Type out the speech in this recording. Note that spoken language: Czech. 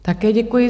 Také děkuji.